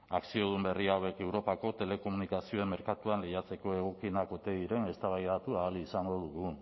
akziodun berri hauek europako telekomunikazioen merkatuan lehiatzeko egokienak ote diren eztabaidatu ahal izango dugu